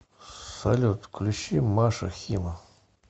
салют включи маша хима